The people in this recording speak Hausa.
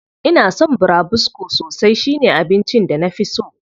Ina son burabusko sosai, shi ne abincin da na fi so.